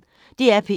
DR P1